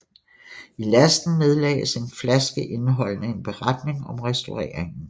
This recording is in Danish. I lasten nedlagtes en flaske indeholdende en beretning om restaureringen